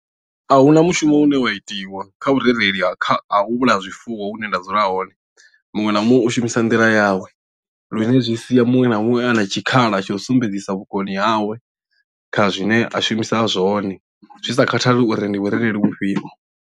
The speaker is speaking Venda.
A huna mushumo une wa itiwa kha vhurereli ha kha u vhulaya zwifuwo hune nda dzula hone muṅwe na muṅwe u shumisa nḓila yawe lune zwi sia muṅwe na muṅwe a na tshikhala tsha u sumbedzisa vhukoni hawe kha zwine a shumisa zwone zwi sa khathali uri ndi vhurereli vhufhio.